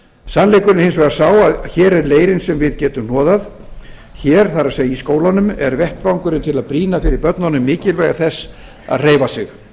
sannleikurinn er hins vegar sá að hér er leirinn sem við getum hnoðað hér það er í skólunum er vettvangurinn til að brýna fyrir börnunum mikilvægi þess að hreyfa sig